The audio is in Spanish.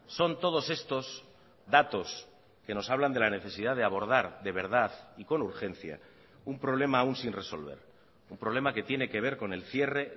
son todos estos datos que nos hablan de la necesidad de abordar de verdad y con urgencia un problema aún sin resolver un problema que tiene que ver con el cierre